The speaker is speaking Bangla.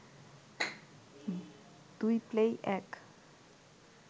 দুই প্লেই এক